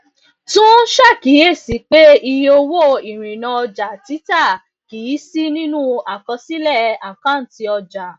tún ṣàkíyèsí pé iye owó ìrìnnà ọjà títà kì í sí nínú àkọsílẹ àkáǹtì ọjà